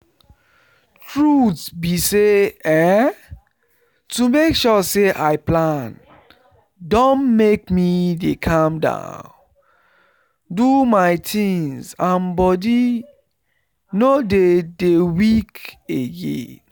truth be say[um]to make sure say i plan don make me dey calm down do my things and body no dey dey weak again